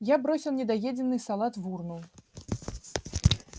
я бросил недоеденный салат в урну